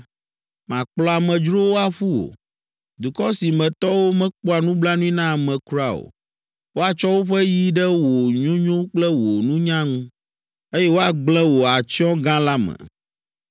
makplɔ amedzrowo aƒu wò, dukɔ si me tɔwo mekpɔa nublanui na ame kura o. Woatsɔ woƒe yi ɖe wò nyonyo kple wò nunya ŋu, eye woagblẽ wò atsyɔ̃ gã la me.